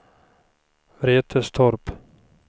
Vretstorp